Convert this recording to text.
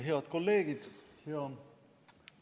Head kolleegid!